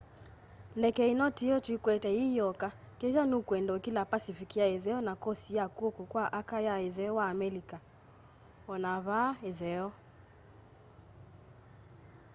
ndeke ino tiyo twikwetye yiyoka kethwa nukwenda ukila pacific ya itheo na kosti ya kwoko kwa aka ya itheo wa amelika. ona vaa itheo